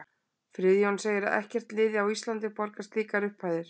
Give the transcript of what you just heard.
Friðjón segir ekkert lið á Íslandi borga slíkar upphæðir.